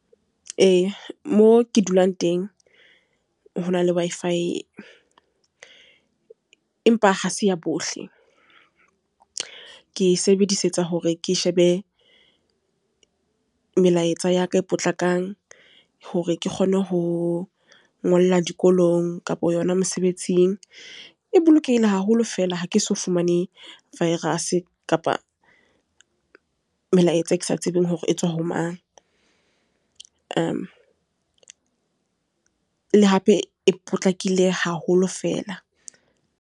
Ee, mo ke dulang teng hona le Wi-Fi, empa ha se ya bohle, ke e sebedisetsa hore ke shebe melaetsa ya ka e potlakang, hore ke kgone ho ngolla dikolong kapa yona mosebetsing. E bolokehile haholo fela ha ke so fumane virus-e, kapa melaetsa e ke sa tsebeng hore e tswa ho mang, le hape e potlakile haholo fela.